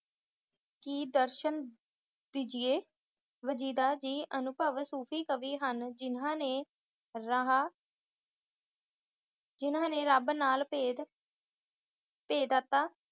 ਕਿ ਦਰਸ਼ਨ ਦੀਜੀਏ। ਵਜੀਦਾ ਜੀ ਅਨੁਭਵੀ ਸੂਫ਼ੀ ਕਵੀ ਹਨ ਜਿਹਨਾਂ ਨੇ ਰਹਾ ਰੱਬ ਨਾਲ ਅਭੇਦ ਅਭੇਦਤਾ